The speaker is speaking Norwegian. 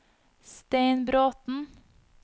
Stein Bråthen